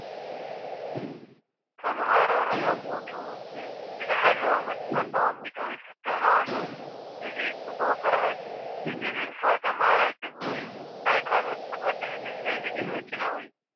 ተመሃሮ ርሕቑቱ ብዝሓለወ መስመር ተቐሚጦም ይፍተኑ ኣለዉ፡፡ እዚ ፅቡቕ ስርዓት እዩ፡፡ እዚ ንንፉዕ ተመሃራይ ፅቡቕ እዩ፡፡ ናይ ካልኦት ክቐድሕ ንዝደሊ ግን መጨነቒ እዩ፡፡